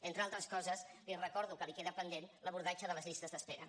entre altres coses li recordo que li queda pendent l’abordatge de les llistes d’espera